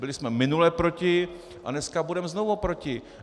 Byli jsme minule proti a dneska budeme znovu proti.